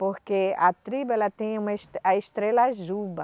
Porque a tribo, ela tem uma es, a estrela Juba.